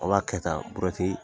O b'a kɛ tan buruwɛti